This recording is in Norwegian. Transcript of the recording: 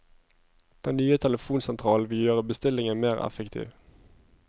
Den nye telefonsentralen vil gjøre bestillingen mer effektiv.